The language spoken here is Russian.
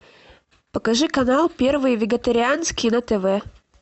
покажи канал первый вегетарианский на тв